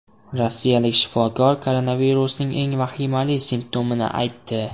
Rossiyalik shifokor koronavirusning eng vahimali simptomini aytdi.